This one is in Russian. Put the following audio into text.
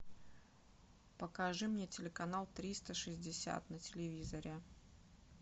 покажи мне телеканал триста шестьдесят на телевизоре